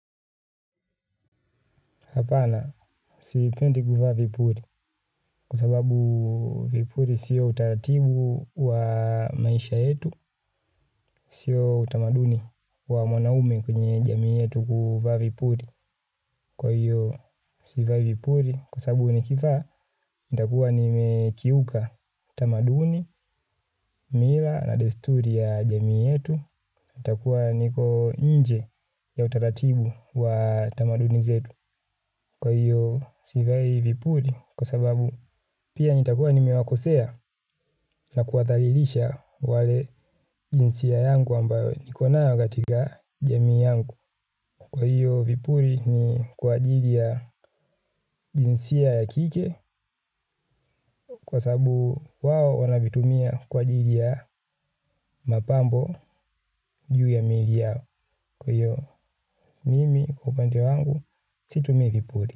Hapana, siipendi kuvaa vipuli kwa sababu vipuli sio utaratibu wa maisha yetu, sio utamaduni wa mwanaume kwenye jamii yetu kuvaa vipuli kwa hiyo sivai vipuli kwa sababu ni kivaa nitakuwa nimekiuka utamaduni, mila na desturi ya jamii yetu, itakuwa niko inje ya utaratibu wa tamaduni zetu. Kwa hiyo sivai vipuli kwa sababu pia nitakua nimewakosea na kuwa dhalilisha wale jinsia yangu ambayo niko nayo katika jamii yangu. Kwa hiyo vipuli ni kwa ajili ya jinsia ya kike kwa sababu wao wanavitumia kwa ajili ya mapambo juu ya mili yao. Kwa hiyo mimi upande wangu situmii vipuli.